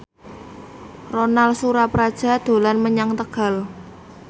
Ronal Surapradja dolan menyang Tegal